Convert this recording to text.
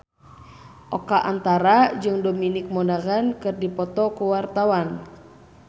Oka Antara jeung Dominic Monaghan keur dipoto ku wartawan